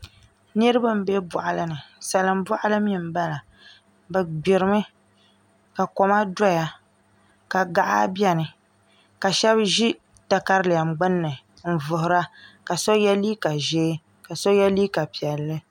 Niraba n bɛ boɣali ni salin boɣali mii n bala bi gbirimi ka koma doya ka gaɣa biɛni ka shab ʒi katalɛm gbunni n vuhura ka so yɛ liiga ʒiɛ ka so yɛ liiga piɛlli